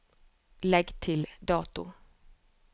Legg til dato